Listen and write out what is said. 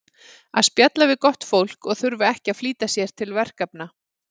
að spjalla við gott fólk og þurfa ekki að flýta sér til verkefna